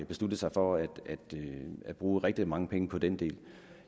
besluttet sig for at bruge rigtig mange penge på den del